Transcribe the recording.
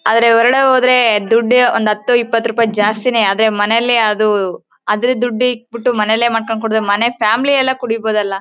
ಆದ್ರೆ ಹೊರಗಡೆ ಹೋದ್ರೆ ದುಡ್ಡು ಒಂದ್ ಹತ್ತು ಇಪ್ಪತ್ತು ರೂಪಾಯಿ ಜಾಸ್ತಿನೇ ಆದ್ರೆ ಮನೆಲ್ಲಿ ಅದು ಅದ್ರ ದುಡ್ಡ ಇಕ್ ಬಿಟ್ಟು ಮನೆಲ್ಲೇ ಮಾಡ್ಕೊಂಡ್ ಕುಡದ್ರೆ ಮನೆಲ್ಲಿ ಫ್ಯಾಮಿಲಿ ಎಲ್ಲಾ ಕುಡೀಬಹುದಲ್ಲ.